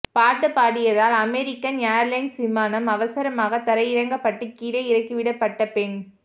பாட்டு பாடியதால் American Airlines விமானம் அவசரமாக தரையிறக்கப்பட்டு கீழே இறக்கிவிடப்பட்ட பெண்